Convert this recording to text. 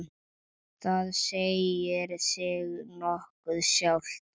Það segir sig nokkuð sjálft.